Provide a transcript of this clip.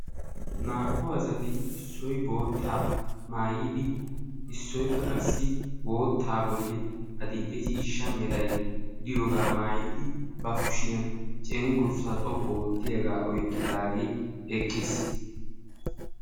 Naa"u asati issoy boottaa maayidi issoykka qassi boottaa bolli adl"e ciishsha meray de'iyooga maayyidi ba kushiyaan adl"e ciishsha meray de'iyooga oyqqidi eqqiis.